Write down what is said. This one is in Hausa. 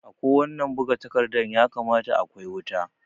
A ko wannan buga takarda ya kamata a kwai wuta